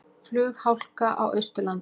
Flughálka á Austurlandi